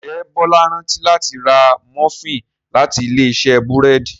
njé Bola rántí láti rà Múfìn láti Ilé-iṣẹ́ búrẹ́d